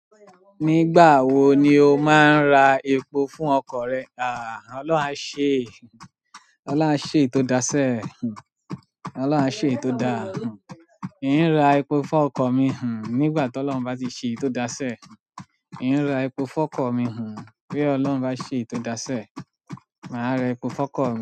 Nígbà wo ni o máa ra epo fún ọkọ̀ rẹ? Àà Ọlọ́run á ṣe, Ọlọ́run á ṣe ètò dáṣẹ́, Ọlọ́run á ṣe èyí tò dá. Èmi ń ra epo fún ọkọ̀ mi hùn nígbà tó lọ́hun bá ti ṣe èyí tò dáṣẹ́. Èmi ń ra epo fún ọkọ̀ mi hùn bí ọlọ́run bá ṣe èyí tò dáṣẹ́. Mà á ra epo fún ọkọ̀ mi.